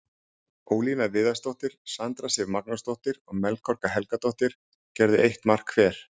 Ólína Viðarsdóttir, Sandra Sif Magnúsdóttir og Melkorka Helgadóttir gerðu eitt mark hver.